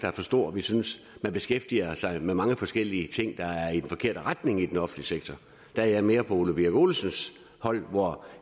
er for stor og vi synes man beskæftiger sig med mange forskellige ting der går i den forkerte retning i den offentlige sektor der er jeg mere på herre ole birk olesens hold